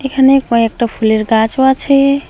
এখানে কয়েকটা ফুলের গাছও আছে।